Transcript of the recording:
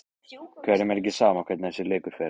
Hverjum er ekki sama hvernig þessi leikur fer?